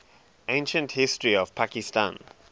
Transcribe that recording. ancient history of pakistan